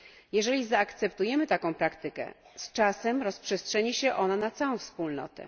Jeżeli zaakceptujemy taką praktykę, z czasem rozprzestrzeni się ona na całą Wspólnotę.